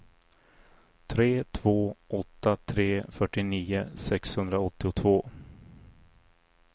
tre två åtta tre fyrtionio sexhundraåttiotvå